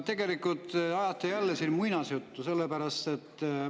Tegelikult ajate te jälle siin muinasjuttu.